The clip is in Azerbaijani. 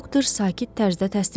Doktor sakit tərzdə təsdiqlədi.